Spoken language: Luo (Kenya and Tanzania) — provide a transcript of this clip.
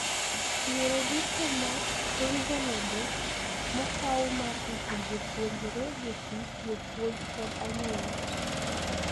Yore duto ma reasonable mokau mar rito jopuonjre, jotich, jopuonj kod anyuond gi.